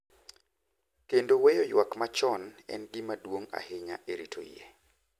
Kendo weyo ywak machon en gima duong’ ahinya e rito yie.